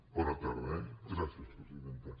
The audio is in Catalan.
bona tarda eh gràcies presidenta